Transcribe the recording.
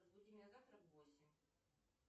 разбуди меня завтра в восемь